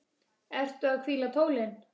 Ertu að hvíla tólin?